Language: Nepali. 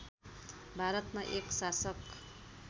भारतमा एक शासक